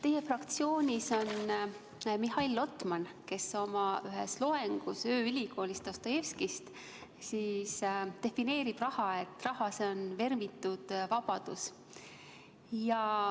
Teie fraktsioonis on Mihhail Lotman, kes oma ühes "Ööülikooli" loengus rääkis Dostojevskist ja defineeris raha, et raha, see on vermitud vabadus.